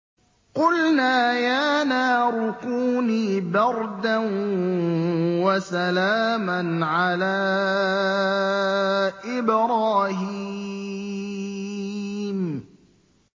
قُلْنَا يَا نَارُ كُونِي بَرْدًا وَسَلَامًا عَلَىٰ إِبْرَاهِيمَ